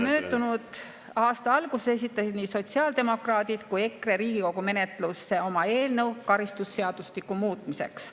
Möödunud aasta alguses esitasid nii sotsiaaldemokraadid kui ka EKRE Riigikogu menetlusse oma eelnõu karistusseadustiku muutmiseks.